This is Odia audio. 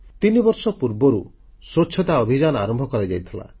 ତିନିବର୍ଷ ପୂର୍ବରୁ ସ୍ୱଚ୍ଛତା ଅଭିଯାନ ଆରମ୍ଭ କରାଯାଇଥିଲା